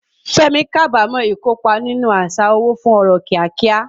Fẹ́mi kábàámọ̀ ìkópa nínú àṣà owó fún ọrọ̀ kíákíá.